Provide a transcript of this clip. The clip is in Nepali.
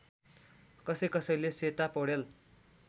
कसैकसैले सेता पौडेल